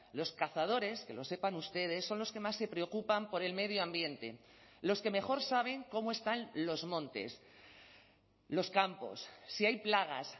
los cazadores que lo sepan ustedes son los que más se preocupan por el medio ambiente los que mejor saben cómo están los montes los campos si hay plagas